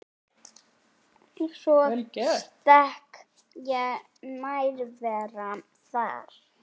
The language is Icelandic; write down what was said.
Svo sterk er nærvera þeirra.